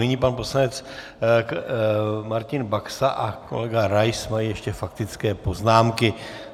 Nyní pan poslanec Martin Baxa a kolega Rais mají ještě faktické poznámky.